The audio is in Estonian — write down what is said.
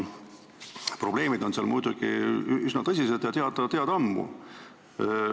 Probleemid on seal üsna tõsised ja ammu teada.